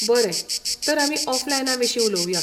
बरें, तर आमी ऑफलायना विशीं उलोवया.